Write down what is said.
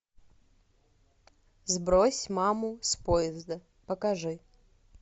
сбрось маму с поезда покажи